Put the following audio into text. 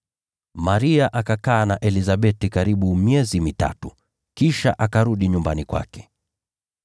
Maria akakaa na Elizabeti karibu miezi mitatu, kisha akarudi nyumbani kwake.